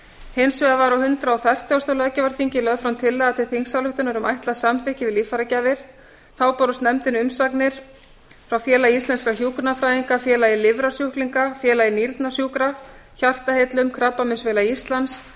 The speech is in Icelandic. hins vegar var á hundrað og fertugasta löggjafarþingi lögð fram tillaga til þingsályktunar um ætlað samþykki við líffæragjafir þá bárust nefndinni umsagnir frá félagi íslenskra hjúkrunarfræðinga félagi lifrarsjúklinga félagi nýrnasjúkra hjartaheillum krabbameinsfélagi íslands